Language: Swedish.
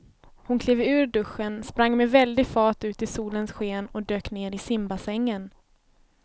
Hon klev ur duschen, sprang med väldig fart ut i solens sken och dök ner i simbassängen.